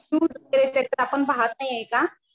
News वगैरे त्याच्यात आपण पाहत नाही का?